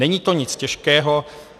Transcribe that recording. Není to nic těžkého.